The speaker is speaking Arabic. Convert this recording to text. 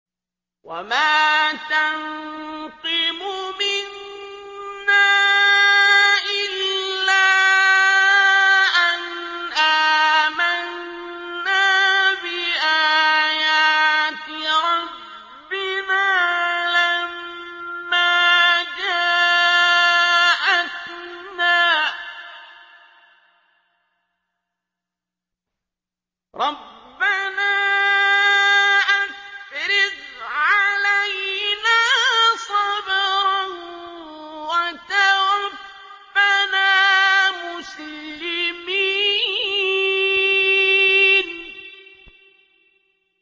وَمَا تَنقِمُ مِنَّا إِلَّا أَنْ آمَنَّا بِآيَاتِ رَبِّنَا لَمَّا جَاءَتْنَا ۚ رَبَّنَا أَفْرِغْ عَلَيْنَا صَبْرًا وَتَوَفَّنَا مُسْلِمِينَ